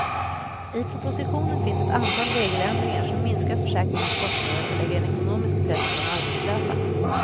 I propositionen finns ett antal regeländringar som minskar försäkringens kostnader och lägger en ekonomisk press på de arbetslösa.